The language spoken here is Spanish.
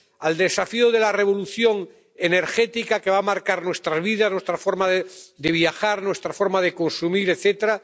Al desafío de la revolución energética que va a marcar nuestra vida, nuestra forma de viajar, nuestra forma de consumir, etc.